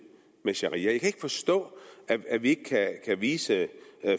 med sharia jeg kan ikke forstå at vi ikke kan vise